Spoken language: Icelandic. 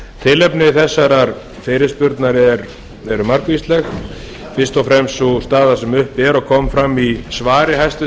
tilefni þessarar fyrirspurnar eru margvísleg fyrst og fremst sú staða sem uppi er og kom fram í svari hæstvirts